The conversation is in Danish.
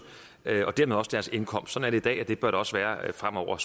og dermed også deres indkomst sådan i dag og det bør det også være fremover